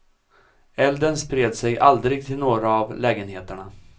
Elden spred sig aldrig till några av lägenheterna.